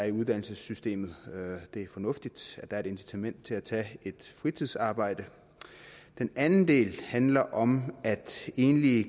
i uddannelsessystemet det er fornuftigt at der er et incitament til at tage et fritidsarbejde den anden del handler om at enlige